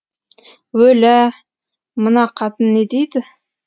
өлә мына қатын не дейді